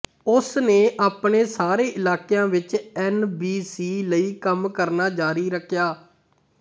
ਉਸਨੇ ਆਪਣੇ ਸਾਰੇ ਇਲਾਕਿਆਂ ਵਿਚ ਐਨ ਬੀ ਸੀ ਲਈ ਕੰਮ ਕਰਨਾ ਜਾਰੀ ਰੱਖਿਆ